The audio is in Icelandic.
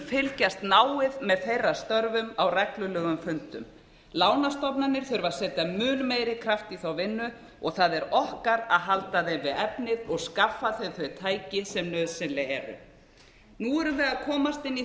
fylgjast náið með þeirra störfum á reglulegum fundum lánastofnanir þurfa að setja mun meiri kraft í þá vinnu og það er okkar að halda þeim við efnið og skaffa þeim þau tæki sem nauðsynleg eru nú erum við að komast inn í